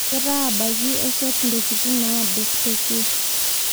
Ketaa abaki eshet ntokitin naadoo tekwee